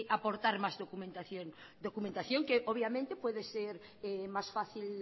aportar más documentación documentación que obviamente puede ser más fácil